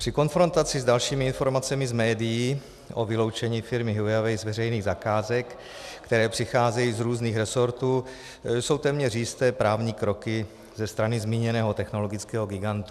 Při konfrontaci s dalšími informacemi z médií o vyloučení firmy Huawei z veřejných zakázek, které přicházejí z různých rezortů, jsou téměř jisté právní kroky ze strany zmíněného technologického gigantu.